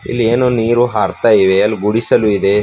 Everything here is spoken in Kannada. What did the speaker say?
ಇಲ್ಲಿ ಏನು ನೀರು ಹರ್ತ ಇವೆ ಅಲ್ ಗುಡಿಸಲು ಇದೆ.